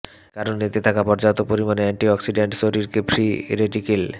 কারণ এতে থাকা পর্যাপ্ত পরিমাণে অ্যান্টিঅক্সিডেন্ট শরীরকে ফ্রি রেডিকেল